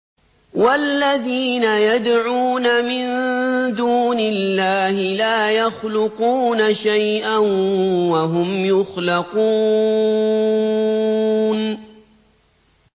وَالَّذِينَ يَدْعُونَ مِن دُونِ اللَّهِ لَا يَخْلُقُونَ شَيْئًا وَهُمْ يُخْلَقُونَ